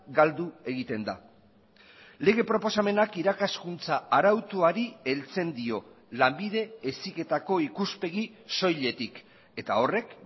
galdu egiten da lege proposamenak irakaskuntza arautuari heltzen dio lanbide heziketako ikuspegi soiletik eta horrek